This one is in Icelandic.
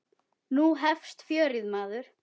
Nú hefst fjörið, maður.